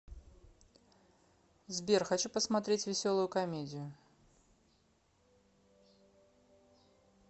сбер хочу посмотреть веселую комедию